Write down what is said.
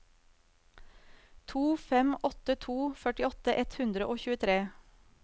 to fem åtte to førtiåtte ett hundre og tjuetre